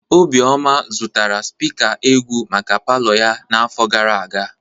Obioma zụtara spika egwu maka palọ ya n'afọ gara aga.